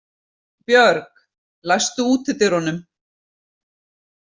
Björg, læstu útidyrunum.